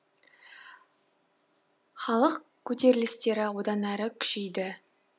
халық көтерілістері одан әрі күшейді